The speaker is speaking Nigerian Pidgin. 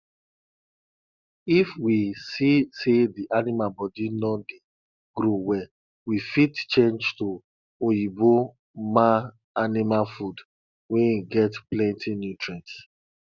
if we see say the animal body no dey grow well we fit change to oyinbo man animal food wey get plenti nutrients